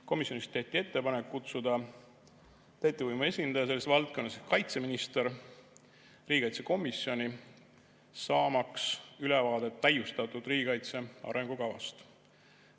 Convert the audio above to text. Komisjonis tehti ettepanek kutsuda täitevvõimu esindaja selles valdkonnas ehk kaitseminister riigikaitsekomisjoni, saamaks ülevaadet täiustatud riigikaitse arengukavast.